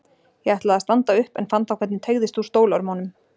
Ég ætlaði að standa upp en fann þá hvernig teygðist úr stólörmunum.